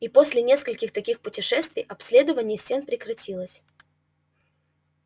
и после нескольких таких путешествий обследование стен прекратилось